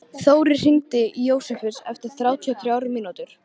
Þórir, hringdu í Jósefus eftir þrjátíu og þrjár mínútur.